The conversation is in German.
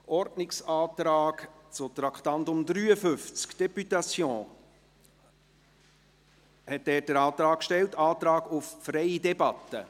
Ordnungsantrag zu Traktandum 53, Députation, Antrag auf freie Debatte: